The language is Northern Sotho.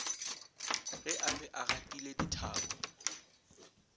ge a be agatile dithapo